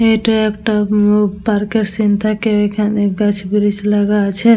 এটা এটা ও পার্কের সিন থাকে এখানে গাছ বৃকস লাগা আছে।